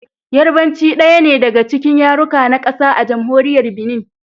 Yarbanci daya ne daga cikin yaruka na kasa a Jamhuriyar Binin.